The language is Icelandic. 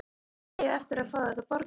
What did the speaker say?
Þið eigið eftir að fá þetta borgað!